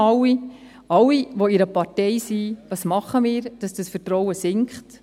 Wir alle, die wir in einer Partei sind, was tun wir, dass das Vertrauen sinkt?